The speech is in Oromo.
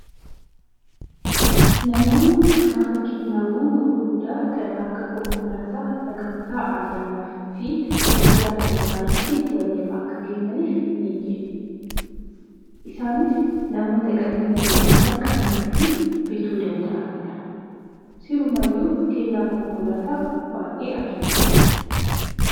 Namoonni gaafa kennaawwan gurguddaa kan akka konkolaataa sagantaa ayyaanaaf fi guyyaa dhalootaa irratti waliif Akka kennaaf ni kennu. Isaanis namoota qabeenya gurguddaa qabanii fi bituu danda'anidha. Sirumayyuu kennaa konkolaataa baay'ee ajaa'ibaa